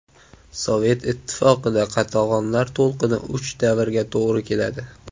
Sovet Ittifoqida qatag‘onlar to‘lqini uch davrga to‘g‘ri keladi.